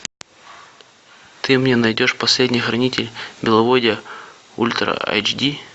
ты мне найдешь последний хранитель беловодья ультра айч ди